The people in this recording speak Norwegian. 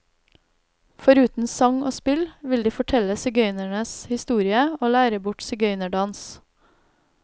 Foruten sang og spill, vil de fortelle sigøynernes historie og lære bort sigøynerdans.